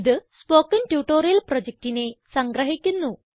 ഇത് spoken tutorial പ്രൊജക്റ്റിനെ സംഗ്രഹിക്കുന്നു